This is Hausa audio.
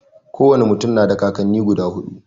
Ko wane mutum na da kakanni guda huɗu.